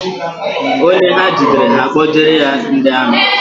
Onye ha jidere, ha akpojere ya ndị amị